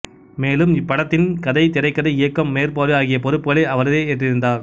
மேலும் இப்படத்தின் கதை திரைக்கதை இயக்கம் மேற்பார்வை ஆகிய பொறுப்புக்களை அவரே ஏற்றிருந்தார்